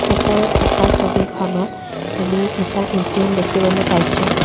ওপৰত থকা ছবিখনত আমি এটা এ_টি_এম দেখিবলৈ পাইছোঁ।